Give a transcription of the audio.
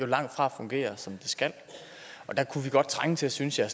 langtfra fungerer som de skal der kunne vi godt trænge til synes jeg